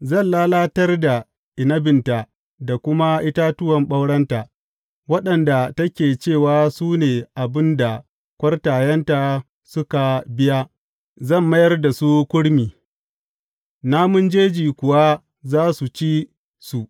Zan lalatar da inabinta da kuma itatuwan ɓaurenta, waɗanda take cewa su ne abin da kwartayenta suka biya; zan mayar da su kurmi, namun jeji kuwa za su ci su.